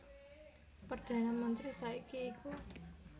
Perdhana mentri saiki iku